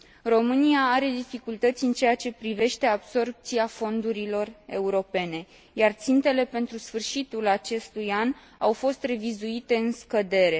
România are dificultăți în ceea ce privește absorbția fondurilor europene, iar țintele pentru sfârșitul acestui an au fost revizuite în scădere.